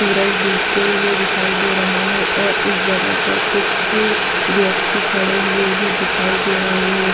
सूरज डूबते हुए दिखाई दे रहा है और इस जगह पर कुछ व्यक्ति खड़े हुए भी दिखाई दे रहे हैं।